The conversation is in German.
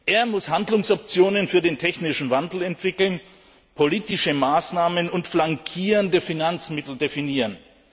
Er muss Handlungsoptionen für den technischen Wandel entwickeln und politische Maßnahmen und flankierende Finanzmittel definieren.